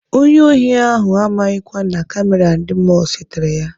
Onye ohi ahụ amaghịkwa na kamera ndị mọlụ setere ya.